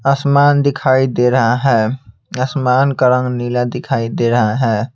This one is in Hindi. आसमान दिखाई दे रहा है आसमान का रंग नीला दिखाई दे रहा है।